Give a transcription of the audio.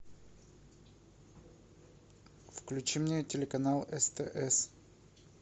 включи мне телеканал стс